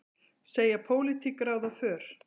Segja pólitík ráða för